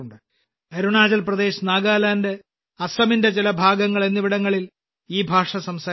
അരുണാചൽ പ്രദേശ് നാഗാലാൻഡ് അസമിന്റെ ചില ഭാഗങ്ങൾ എന്നിവിടങ്ങളിൽ ഈ ഭാഷ സംസാരിക്കുന്നു